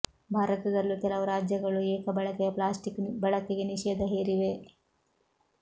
ಭಾರತದಲ್ಲೂ ಕೆಲವು ರಾಜ್ಯಗಳು ಏಕ ಬಳಕೆಯ ಪ್ಲಾಸ್ಟಿಕ್ ಬಳಕೆಗೆ ನಿಷೇಧ ಹೇರಿವೆ